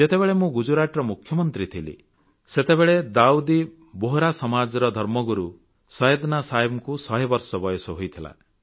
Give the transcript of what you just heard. ଯେତେବେଳେ ମୁଁ ଗୁଜରାତର ମୁଖ୍ୟମନ୍ତ୍ରୀ ଥିଲି ସେତେବେଳେ ଦାଉଦୀ ବୋହରା ସମାଜର ଧର୍ମଗୁରୁ ସୈୟଦନା ସାହେବଙ୍କୁ ଶହେବର୍ଷ ବୟସ ହୋଇଥିଲା